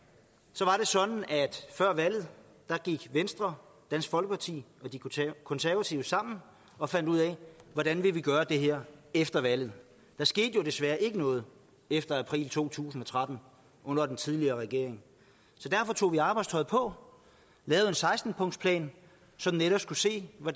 så var det sådan at før valget gik venstre dansk folkeparti og de konservative sammen og fandt ud af hvordan vi ville gøre det her efter valget der skete jo desværre ikke noget efter april to tusind og tretten under den tidligere regering så derfor tog vi arbejdstøjet på lavede en seksten punktsplan som netop skulle se på